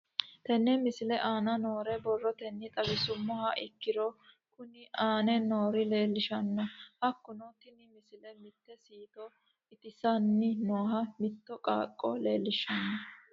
Tenne misile aana noore borrotenni xawisummoha ikirro kunni aane noore leelishano. Hakunno tinni misile mitte siito itisaanni nooha mitto qaaqo leelishshano.